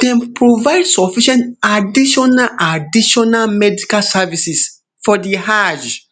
dem provide sufficient additional additional medical services for di hajj